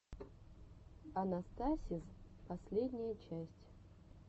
анастасиз последняя часть